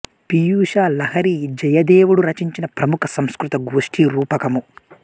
పీయూష లహరి జయదేవుడు రచించిన ప్రముఖ సంస్కృత గోష్ఠీ రూపకము